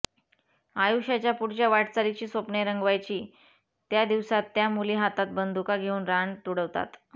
आयुष्याच्या पुढच्या वाटचालीची स्वप्ने रंगवायची त्या दिवसांत त्या मुली हातात बंदुका घेऊन रान तुडवतात